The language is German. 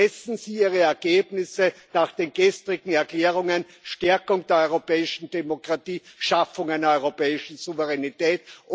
Messen Sie Ihre Ergebnisse nach den gestrigen Erklärungen Stärkung der europäischen Demokratie, Schaffung einer europäischen Souveränität!